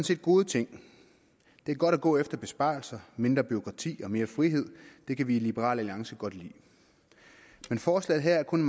set gode ting det er godt at gå efter besparelser mindre bureaukrati og mere frihed det kan vi i liberal alliance godt lide men forslaget her er kun